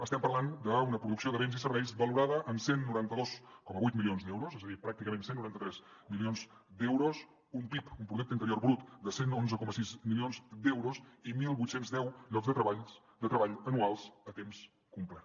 estem parlant d’una producció de béns i serveis valorada en cent i noranta dos coma vuit milions d’euros és a dir pràcticament cent i noranta tres milions d’euros un pib un producte interior brut de cent i onze coma sis milions d’euros i divuit deu llocs de treball anuals a temps complet